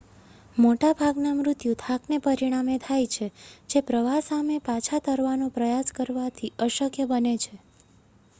મોટાભાગના મૃત્યુ થાકને પરિણામે થાય છે જે પ્રવાહ સામે પાછા તરવાનો પ્રયાસ કરવાથી અશક્ય બને છે